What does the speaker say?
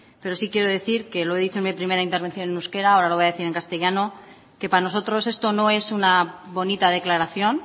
pero sí quiero decir que lo he dicho en mi primera intervención en euskera ahora lo voy a decir en castellano que para nosotros esto no es una bonita declaración